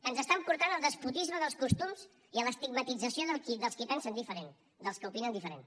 ens estan portant al despotisme dels costums i a l’estigmatització dels qui pensen diferent dels que opinen diferent